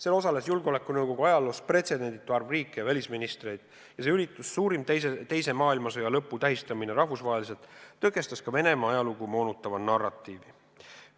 Seal osales julgeolekunõukogu ajaloos pretsedenditu arv riike ja välisministreid ning see üritus – suurim teise maailmasõja lõpu tähistamine rahvusvaheliselt – tõkestas ka Venemaa ajalugu moonutava narratiivi.